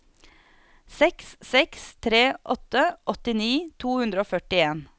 seks seks tre åtte åttini to hundre og førtien